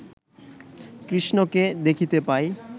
কৃষ্ণকে দেখিতে পাই